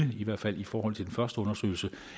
det i hvert fald i forhold til den første undersøgelse